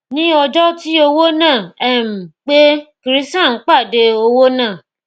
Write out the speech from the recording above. ní ọjọ tí owó náà um pé krishan pàdé owó náà